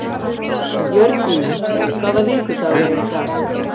Jörgína, hvaða vikudagur er í dag?